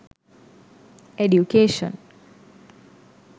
education